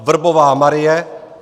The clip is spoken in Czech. Vrbová Marie